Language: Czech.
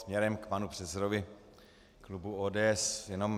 Směrem k panu předsedovi klubu ODS jenom.